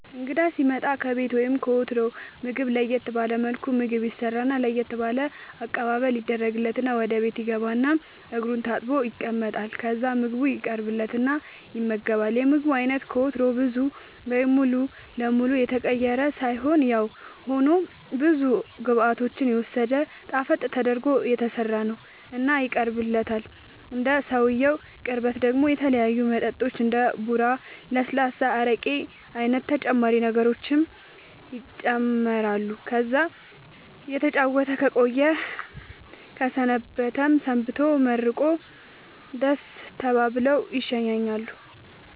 እንግዳ ሢመጣ ከቤቱ ወይም ከወትሮው ምግብ ለየት ባለ መልኩ ምግብ ይሰራና ለየት ባለ አቀባበል ይደረግለትና ወደ ቤት ይገባል እና እግሩን ታጥቦ ይቀመጣል ከዛ ምግቡ ይቀርብለትና ይመገባል የምግቡ አይነት ከወትሮው ብዙ ወይም ሙሉ ለመሉ የተቀየረ ሳይሆንያው ሆኖ ብዙ ግብዓቶችን የወሰደ ጣፈጥ ተደርጎ የተሠራ ነው እና ይቀርብለታል እንደ ሰውየው ቅርበት ደሞ የተለያዩ መጠጦች እንደ ቡራ ለስላሳ አረቄ አይነት ተጨማሪ ነገሮችም ይጨማመራሉ ከዛ እየተጨዋወተ ከቆየ ከሰነበተም ሰንብቶ መርቆ ደሥ ተባብለው ይሸኛኛሉ